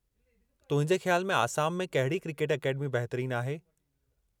तुंहिंजे ख़्याल में आसाम में कहिड़ी क्रिकेट अकेडमी बहितरीनु आहे?